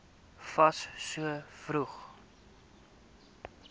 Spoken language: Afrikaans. fas so vroeg